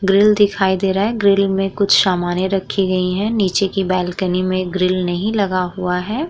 Grill दिखाई दे रहा है। ग्रिल में कुछ समाने रखी गई हैं। नीचे की बालकनी में ग्रिल नहीं लगा हुआ है।